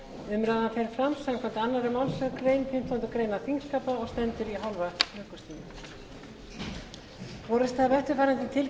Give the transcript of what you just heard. umræðan fer fram samkvæmt annarri málsgrein fimmtugustu grein þingskapa og stendur í hálfa klukkustund